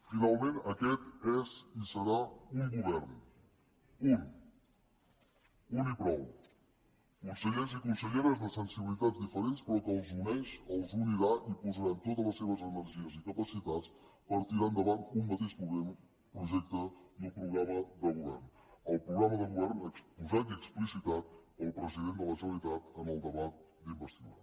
finalment aquest és i serà un govern un un i prou consellers i conselleres de sensibilitats diferents però que els uneix els unirà i posaran totes les seves energies i capacitats per tirar endavant un mateix projecte i un programa de govern el programa de govern exposat i explicitat pel president de la generalitat en el debat d’investidura